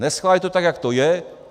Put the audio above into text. Neschválit to tak, jak to je.